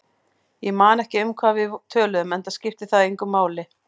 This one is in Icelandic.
Ég man ekki um hvað við töluðum, enda skipti það engu máli.